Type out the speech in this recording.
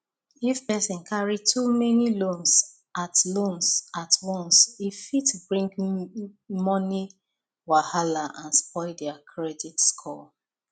if person carry too many loans at loans at once e fit bring money wahala and spoil their credit score